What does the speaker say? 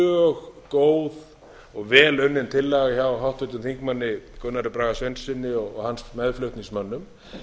mjög góð og vel unnin tillaga hjá háttvirtum þingmönnum gunnari braga sveinssyni og hans meðflutningsmönnum